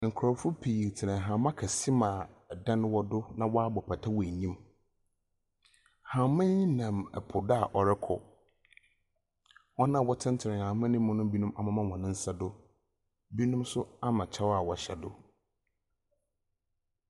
Nkorɔfo pii tse hɛmba kɛse mu a dan wɔ do na wɔabɔ pata wɔ enyim. Hɛmba yi nam po do a ɔrokɔ. Hɔn a wɔtsenatsena hɛmba no mu no binom amema hɔn nsa do, binom so ama kyɛw a wɔhyɛ do.